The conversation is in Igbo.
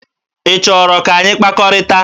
Ị chọrọ ka anyị kpakọrịta?